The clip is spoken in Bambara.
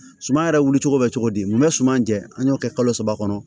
Suman yɛrɛ wuli cogo bɛ cogo di mun bɛ suman jɛ an y'o kɛ kalo saba kɔnɔ